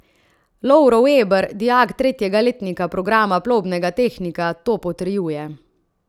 Lovro Veber, dijak tretjega letnika programa plovbnega tehnika, to potrjuje.